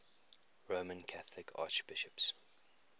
roman catholic archbishops